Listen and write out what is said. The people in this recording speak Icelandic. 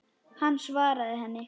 Hann svaraði ekki.